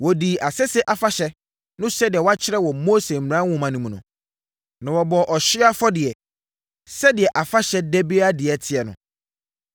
Wɔdii Asese Afahyɛ no sɛdeɛ wɔakyerɛ wɔ Mose mmara nwoma no mu no, na wɔbɔɔ ɔhyeɛ afɔdeɛ, sɛdeɛ afahyɛ da biara deɛ teɛ no.